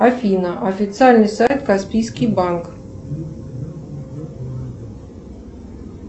афина официальный сайт каспийский банк